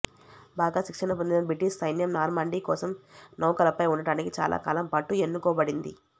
బాగా శిక్షణ పొందిన బ్రిటీష్ సైన్యం నార్మాండీ కోసం నౌకలపై ఉండటానికి చాలాకాలం పాటు ఎన్నుకోబడింది